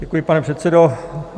Děkuji, pane předsedo.